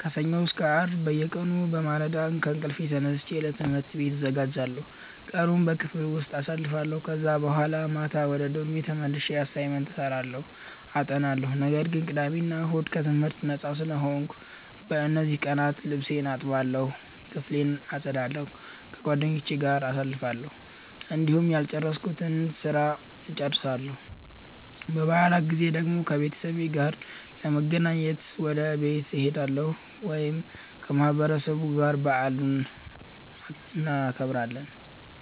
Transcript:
ከሰኞ እስከ አርብ በየቀኑ በማለዳ ከእንቅልፌ ተነስቼ ለትምህርት ቤት እዘጋጃለሁ፣ ቀኑን በክፍል ውስጥ አሳልፋለሁ ከዛ በኋላ ማታ ወደ ዶርሜ ተመልሼ አሳይመንት እሰራለሁ አጠናለሁ። ነገር ግን ቅዳሜ እና እሁድ ከትምህርት ነጻ ስለሆንኩ፣ በእነዚህ ቀናት ልብሴን እጠባለሁ፣ ክፍሌን አጸዳለሁ፣ ከጓደኞቼ ጋር ጊዜ አሳልፋለሁ፣ እንዲሁም ያልጨረስኩትን ስራ እጨርሳለሁ። በበዓላት ጊዜ ደግሞ ከቤተሰቤ ጋር ለመገናኘት ወደ ቤት እሄዳለሁ ወይም ከማህበረሰቡ ጋር በዓሉን እናከብራለን።